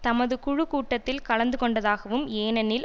தமது குழு கூட்டத்தில் கலந்துகொண்டதாகவும் ஏனெனில்